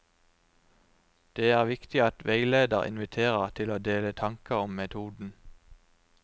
Det er viktig at veileder inviterer til å dele tanker om metoden.